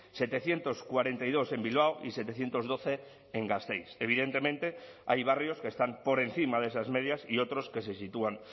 setecientos cuarenta y dos en bilbao y setecientos doce en gasteiz evidentemente hay barrios que están por encima de esas medias y otros que se sitúan